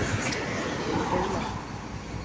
Gaular